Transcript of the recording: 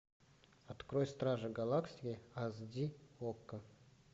открой стражи галактики эйч ди окко